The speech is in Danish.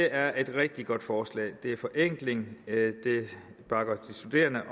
er et rigtig godt forslag det er forenkling det bakker de studerende